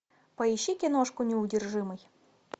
поищи киношку неудержимый